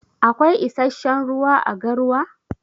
Akwai issashen ruwa à garwa?